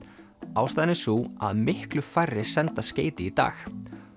ástæðan er sú að miklu færri senda skeyti í dag